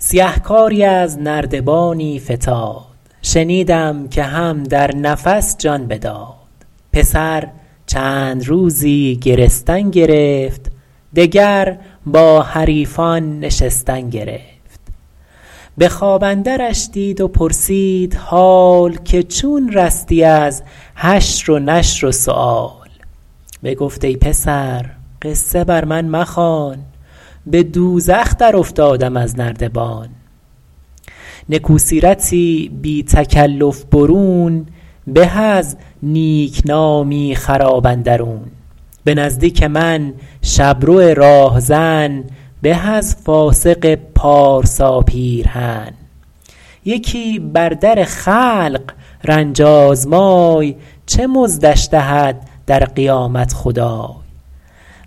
سیهکاری از نردبانی فتاد شنیدم که هم در نفس جان بداد پسر چند روزی گرستن گرفت دگر با حریفان نشستن گرفت به خواب اندرش دید و پرسید حال که چون رستی از حشر و نشر و سؤال بگفت ای پسر قصه بر من مخوان به دوزخ در افتادم از نردبان نکو سیرتی بی تکلف برون به از نیکنامی خراب اندرون به نزدیک من شبرو راهزن به از فاسق پارسا پیرهن یکی بر در خلق رنج آزمای چه مزدش دهد در قیامت خدای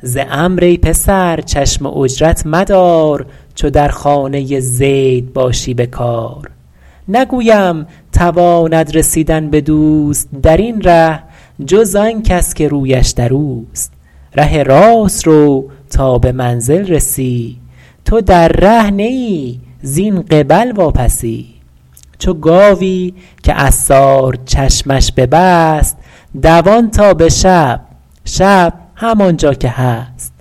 ز عمرو ای پسر چشم اجرت مدار چو در خانه زید باشی به کار نگویم تواند رسیدن به دوست در این ره جز آن کس که رویش در اوست ره راست رو تا به منزل رسی تو در ره نه ای زین قبل واپسی چو گاوی که عصار چشمش ببست دوان تا به شب شب همان جا که هست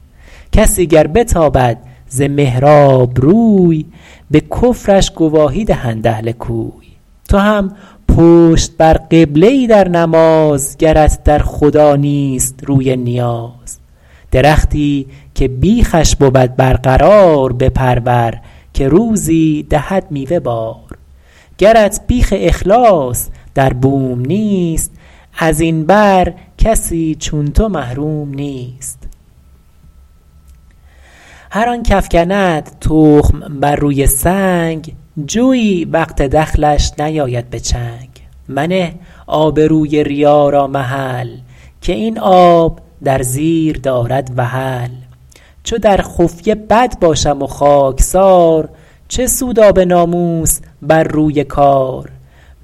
کسی گر بتابد ز محراب روی به کفرش گواهی دهند اهل کوی تو هم پشت بر قبله ای در نماز گرت در خدا نیست روی نیاز درختی که بیخش بود برقرار بپرور که روزی دهد میوه بار گرت بیخ اخلاص در بوم نیست از این بر کسی چون تو محروم نیست هر آن کافکند تخم بر روی سنگ جوی وقت دخلش نیاید به چنگ منه آبروی ریا را محل که این آب در زیر دارد وحل چو در خفیه بد باشم و خاکسار چه سود آب ناموس بر روی کار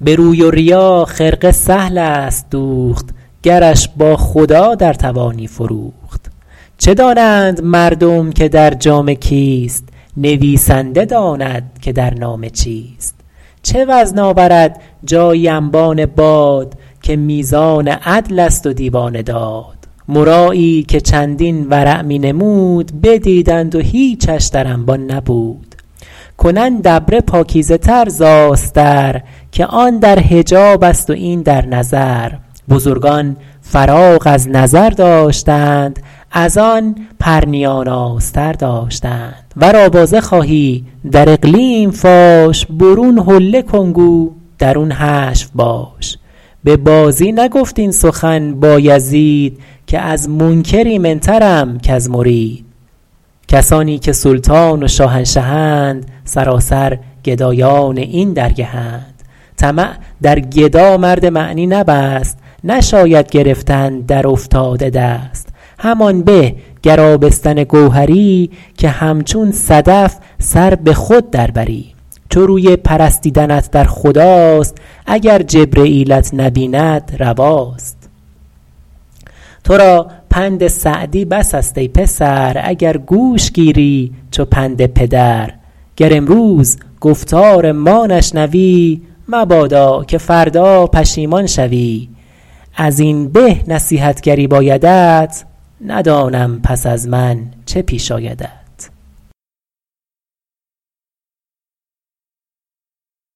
به روی و ریا خرقه سهل است دوخت گرش با خدا در توانی فروخت چه دانند مردم که در جامه کیست نویسنده داند که در نامه چیست چه وزن آورد جایی انبان باد که میزان عدل است و دیوان داد مرایی که چندین ورع می نمود بدیدند و هیچش در انبان نبود کنند ابره پاکیزه تر ز آستر که آن در حجاب است و این در نظر بزرگان فراغ از نظر داشتند از آن پرنیان آستر داشتند ور آوازه خواهی در اقلیم فاش برون حله کن گو درون حشو باش به بازی نگفت این سخن بایزید که از منکر ایمن ترم کز مرید کسانی که سلطان و شاهنشهند سراسر گدایان این درگهند طمع در گدا مرد معنی نبست نشاید گرفتن در افتاده دست همان به گر آبستن گوهری که همچون صدف سر به خود در بری چو روی پرستیدنت در خداست اگر جبرییلت نبیند رواست تو را پند سعدی بس است ای پسر اگر گوش گیری چو پند پدر گر امروز گفتار ما نشنوی مبادا که فردا پشیمان شوی از این به نصیحتگری بایدت ندانم پس از من چه پیش آیدت